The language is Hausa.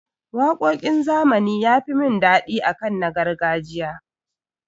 Waƙoƙin zamani ya fi mun daɗi akan na gargajiya.